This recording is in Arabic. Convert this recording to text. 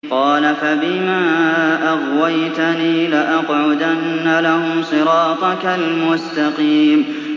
قَالَ فَبِمَا أَغْوَيْتَنِي لَأَقْعُدَنَّ لَهُمْ صِرَاطَكَ الْمُسْتَقِيمَ